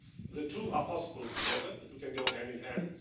The two are possible together, the two can go hand in hand.